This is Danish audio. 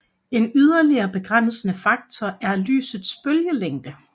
En yderligere begrænsende faktor er lysets bølgelængde